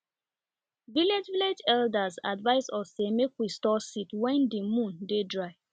village village elder advise us say make we store seed wen di moon dey dry